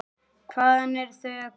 Hvaðan eru þau að koma?